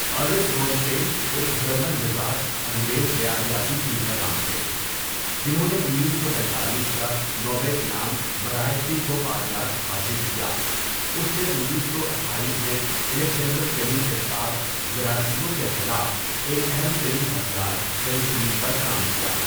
Ernest Boris Chain ایک German نژاد انگریز حیاتیاتی کیمیاءدان تھے جنھوں نے انیس سو پینتالیس کا نوبل انعام برائے طب و فعلیات حاصل کیا اسنے انیس سو اٹھایس میں الیگزنڈر فلیمنگ کے ساتھ جراثیموں کے خلاف ایک اہم ترین ہتھیار پنسلین پر کام کیا.